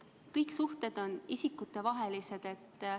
Kõik suhted on isikutevahelised.